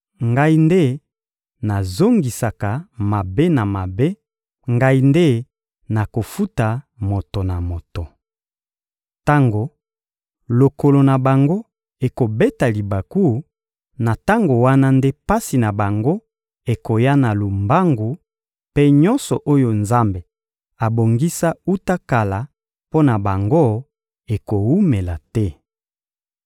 Ngai nde nazongisaka mabe na mabe, Ngai nde nakofuta moto na moto. Tango lokolo na bango ekobeta libaku, na tango wana nde pasi na bango ekoya na lombangu, mpe nyonso oyo Nzambe abongisa wuta kala mpo na bango ekowumela te.»